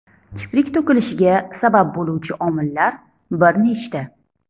Kiprik to‘kilishiga sabab bo‘luvchi omillar bir nechta.